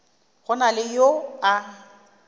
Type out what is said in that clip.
go na le yo a